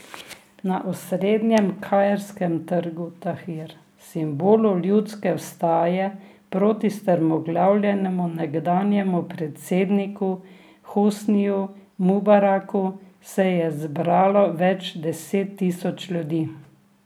Na osrednjem kairskem trgu Tahrir, simbolu ljudske vstaje proti strmoglavljenemu nekdanjemu predsedniku Hosniju Mubaraku, se je zbralo več deset tisoč ljudi.